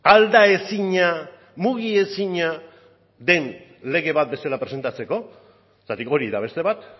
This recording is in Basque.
aldaezina mugiezina den lege bat bezala presentatzeko zergatik hori da beste bat